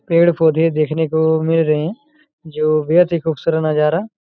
पेड़-पौधे देखने को मिल रहे है जो बेहद ही खूबसूरत नजारा--